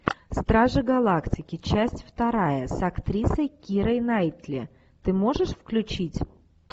стражи галактики часть вторая с актрисой кирой найтли ты можешь включить